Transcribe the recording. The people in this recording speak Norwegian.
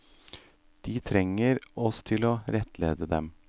De trenger oss til å rettlede dem.